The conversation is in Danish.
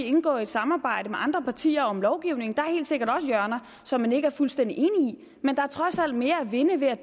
indgår i et samarbejde med andre partier om lovgivning der helt sikkert også hjørner som man ikke er fuldstændig enig i men der er trods alt mere at vinde ved at